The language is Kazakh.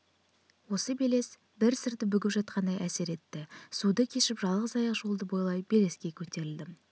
осы белес бір сырды бүгіп жатқандай әсер етті суды кешіп жалғыз аяқ жолды бойлай белеске көтерілдім